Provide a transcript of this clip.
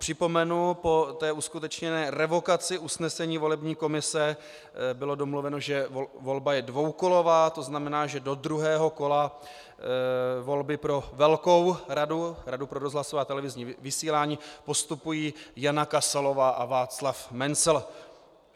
Připomenu, že po uskutečněné revokaci usnesení volební komise bylo domluveno, že volba je dvoukolová, to znamená, že do druhého kola volby pro velkou radu, Radu pro rozhlasové a televizní vysílání, postupují Jana Kasalová a Václav Mencl.